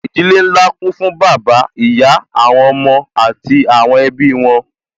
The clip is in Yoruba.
Ìdílé nlá kún fún bàbá, ìyá àwọn ọmọ àti àwọn ẹbí wọn